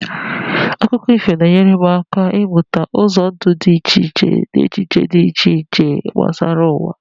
Akụkọ ifo na-enyere m aka ịmụta ụzọ ndụ dị iche iche na echiche dị iche iche gbasara ụwa.